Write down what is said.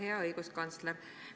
Hea õiguskantsler!